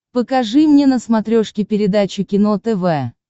покажи мне на смотрешке передачу кино тв